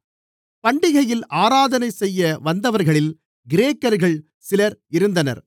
பண்டிகையில் ஆராதனைசெய்ய வந்தவர்களில் கிரேக்கர்கள் சிலர் இருந்தனர்